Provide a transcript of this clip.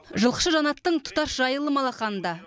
жылқышы жанаттың тұтас жайылымы алақанында